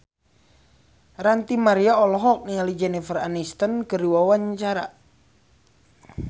Ranty Maria olohok ningali Jennifer Aniston keur diwawancara